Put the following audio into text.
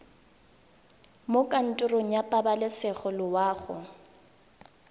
mo kantorong ya pabalesego loago